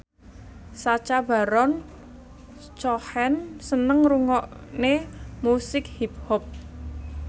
Sacha Baron Cohen seneng ngrungokne musik hip hop